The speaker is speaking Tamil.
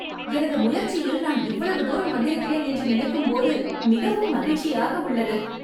எனது முயர்ச்சியில் நான் இவ்வளவு தூரம் வந்திருக்கிறேன் என்று நினைக்கும் போது மிகவும் மகிழ்ச்சியாக உள்ளது.